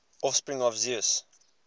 offspring of zeus